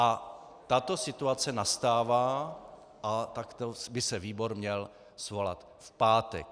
A tato situace nastává a takto by se výbor měl svolat v pátek.